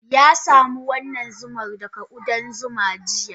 Ya samu wannan zumar daga kudan zuma jiya.